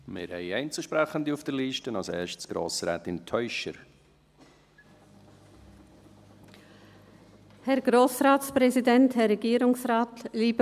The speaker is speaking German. Wir haben Einzelsprechende auf der Liste, zuerst Grossrätin Teuscher.